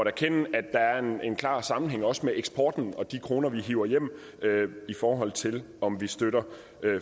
erkende at der er en klar sammenhæng også med eksporten og de kroner vi hiver hjem i forhold til om vi støtter